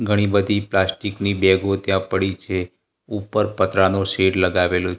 ઘણી બધી પ્લાસ્ટિક ની બેગો ત્યાં પડી છે ઉપર પતરાનો શેડ લગાવેલો--